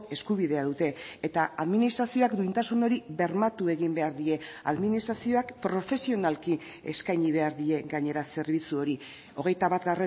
eskubidea dute eta administrazioak duintasun hori bermatu egin behar die administrazioak profesionalki eskaini behar die gainera zerbitzu hori hogeita bat